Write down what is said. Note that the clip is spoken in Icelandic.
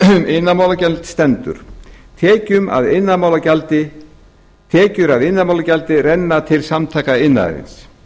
grein laga um iðnaðarmálagjald stendur tekjur af iðnaðarmálagjaldi renna til samtaka iðnaðarins